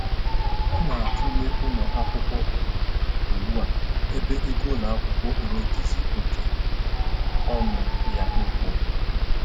Ọ na-atụle ụlọ akwụkwọ ọha ugbu a ebe ego ụlọ akwụkwọ onwe dịzị oké ọṅụ ya ịkwụ